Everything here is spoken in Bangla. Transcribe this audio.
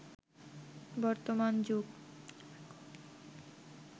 বর্তমান যুগ